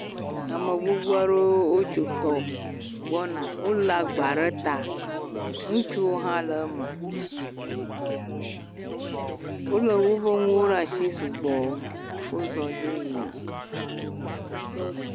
Ame gbogbo aɖewo wotso tɔ gbɔna. Wolé agba ɖe ta. Ŋutsu hã le eme. Wolé woƒe nuwo ɖe asi sugbɔ. Wozɔ dzo yina.